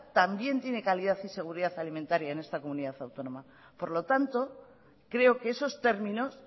también tienen calidad y seguridad alimentaria en esta comunidad autónoma por lo tanto creo que esos términos